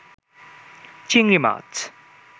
চিংড়ি মাছ